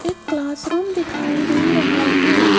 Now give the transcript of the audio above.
एक classroom दिखाई दे रहा है।